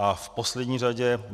A v poslední řadě.